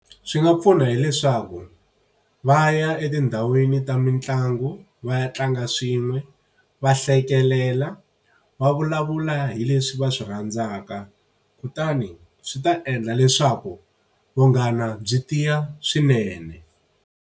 Swi nga pfuna hileswaku va ya etindhawini ta mitlangu va ya tlanga swin'we, va hlekelela va vulavula hi leswi va swi rhandzaka. Kutani swi ta endla leswaku vunghana byi tiya swinene.